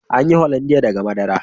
Ana yin " hollandia" daga madara.